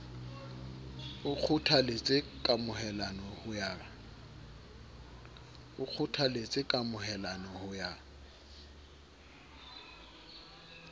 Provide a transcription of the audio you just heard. o kgothaletse kamohelano ho ya